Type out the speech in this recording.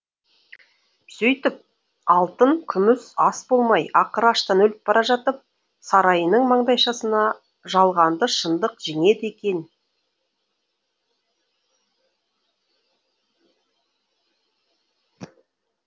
сөйтіп алтын күміс ас болмай ақыры аштан өліп бара жатып сарайының маңдайшасына жалғанды шындық жеңеді екен